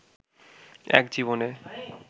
এক জীবনে